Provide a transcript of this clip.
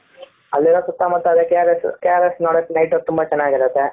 ಅಲ್ಲಿರೋ ಸುತ್ತಮುತ್ತ ಅದೇ KRS ಸು KRS ನೋಡಕ್ night ಹೊತ್ತು ತುಂಬಾ ಚೆನ್ನಾಗಿರುತ್ತೆ.